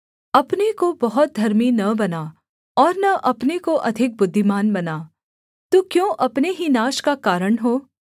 अपने को बहुत धर्मी न बना और न अपने को अधिक बुद्धिमान बना तू क्यों अपने ही नाश का कारण हो